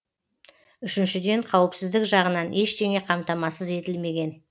үшіншіден қауіпсіздік жағынан ештеңе қамтамасыз етілмеген